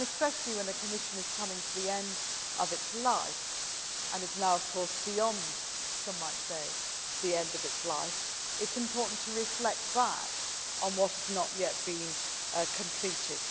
Especially when a Commission is coming to the end of its life and is now, of course, beyond some might say the end of its life, it is important to reflect back on what has not yet been completed.